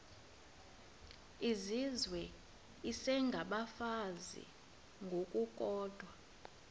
izizwe isengabafazi ngokukodwa